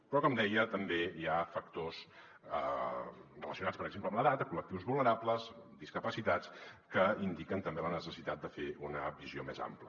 però com deia també hi ha factors relacionats per exemple amb l’edat col·lectius vulne·rables discapacitats que indiquen també la necessitat de fer una visió més ampla